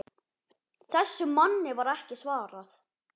Þessum manni var ekki svarað.